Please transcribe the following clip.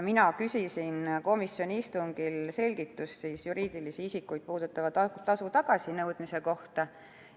Mina küsisin komisjoni istungil selgitust juriidilisi isikuid puudutava tasu tagasinõudmise kohta.